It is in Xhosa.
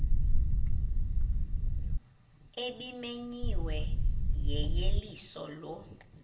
ebimenyiwe yeyeliso lo